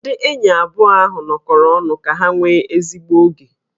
Ndị enyi abụọ ahụ nọkọrọ ọnụ ka ha nwee ezigbo oge